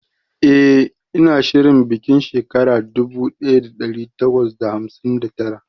eh ina shirin bikin shekara dubu daya da dari takwas da hamsin da tara